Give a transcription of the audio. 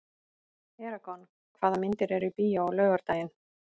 Eragon, hvaða myndir eru í bíó á laugardaginn?